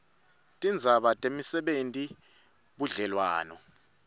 tindzaba temisebenti budlelwano